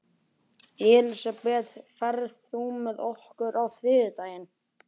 Elisabeth, ferð þú með okkur á þriðjudaginn?